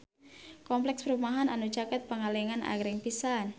Kompleks perumahan anu caket Pangalengan agreng pisan